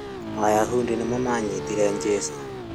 Ayahundi nĩo manyitire jesũ